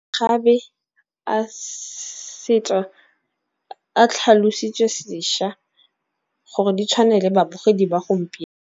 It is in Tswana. Gabe a setso a tlhalositswe sešwa gore di tshwane le babogedi ba .